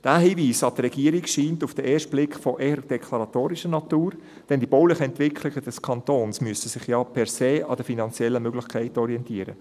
Dieser Hinweis an die Regierung scheint auf den ersten Blick eher deklaratorischer Natur, denn die baulichen Entwicklungen des Kantons müssen sich ja per se an den finanziellen Möglichkeiten orientieren.